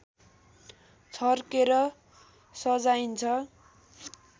छर्केर सजाइन्छ